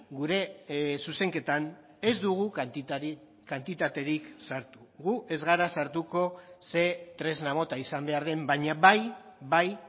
gure zuzenketan ez dugu kantitaterik sartu gu ez gara sartuko ze tresna mota izan behar den baina bai bai